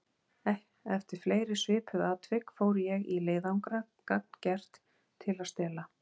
Eftir fleiri svipuð atvik fór ég í leiðangra gagngert til að stela.